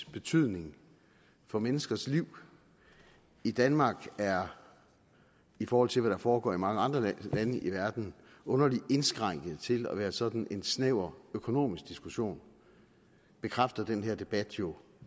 betydning for menneskers liv i danmark er i forhold til hvad der foregår i mange andre lande i verden underligt indskrænket til at være sådan en snæver økonomisk diskussion bekræfter den her debat jo